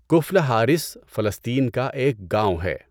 کفل Haris فلسطین کا ایک گاؤں ہے۔